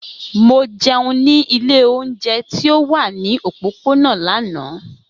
Mo jẹun ni ile ounjẹ ti o wa ni opopona lana.